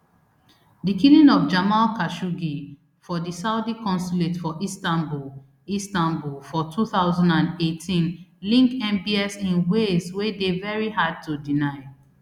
di killing of jamal khashoggi for di saudi consulate for istanbul istanbul for two thousand and eighteen link mbs in ways wey dey very hard to deny